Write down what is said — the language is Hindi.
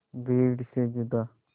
भीड़ से जुदा